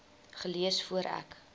gelees voor ek